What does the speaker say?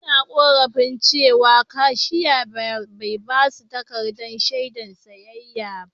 Sabobbin daliban suna ƙorafin cewa kashiya bai ba su takaddan shaidan siyayya ba.